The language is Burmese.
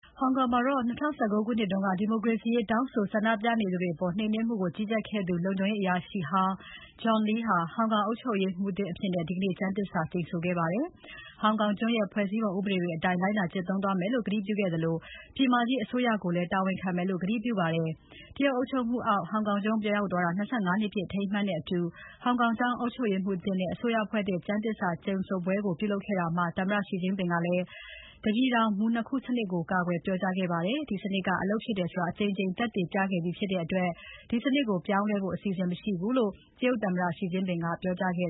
ဟောင်ကောင်မှာ ၂၀၁၉ ခုနှစ်က ဒီမိုကရေစီရေးတောင်းဆို ဆန္ဒပြနေသူတွေအပေါ် နှိမ်နှင်းမှုကို ကြီးကြပ်ခဲ့သူ လုံခြုံရေးအရာရှိဟောင်း John Lee ဟာ ဟောင်ကောင်ကျွန်းအုပ်ချုပ်ရေးမှူးသစ်အဖြစ် ဒီနေ့ ကျမ်းသစ္စာကျိန်ဆိုခဲ့ပါတယ်။ သူက ဟောင်ကောင်ကျွန်းရဲ့ ဖွဲ့စည်းပုံဥပဒေတွေအတိုင်း လိုက်နာကျင့်သုံးသွားမယ်လု့ိ ကတိပြုခဲ့သလို ပြည်မကြီးအစိုးရကိုလည်း တာဝန်ခံမယ်လို့ ကတိပြုခဲ့ပါတယ်။ တရုတ်အုပ်ချုပ်မှုအောက် ဟောင်ကောင်ကျွန်းပြန်ရောက်တာ ၂၅ နှစ်ပြည့် အထိမ်းအမှတ်နဲ့အတူ ဟောင်ကောင်ကျွန်း အုပ်ချုပ်ရေးမှူးသစ်နဲ့ အစိုးရအဖွဲ့သစ် ကျမ်းသစ္စာကျိန်ဆိုပွဲကို ပြုလုပ်ခဲ့တာမှာ သမ္မတ Xi Jinping ကလည်း တပြည်ထောင် စနစ် ၂ ခုမူကို ကာကွယ်ပြောကြားခဲ့ပါတယ်။ ဒီ စနစ်က အလုပ်ဖြစ်တယ်ဆိုတာ အကြိမ်ကြိမ်သက်သေပြခဲ့ပြီးဖြစ်တဲ့အတွက် ဒီစနစ်ကို ပြောင်းလဲဖို့ အစီအစဉ်မရှိဘူးလို့ တရုတ်သမ္မတ Xi Jinping ကပြောကြားခဲ့